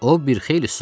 O bir xeyli susdu.